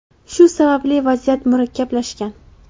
Shu sababli vaziyat murakkablashgan.